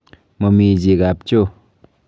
Momii chi kapchoo.